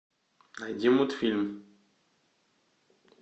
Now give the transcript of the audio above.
найди мультфильм